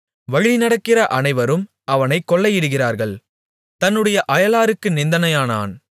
வழிநடக்கிற அனைவரும் அவனைக் கொள்ளையிடுகிறார்கள் தன்னுடைய அயலாருக்கு நிந்தையானான்